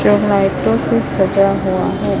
ये लाइटों से सजा हुआ है।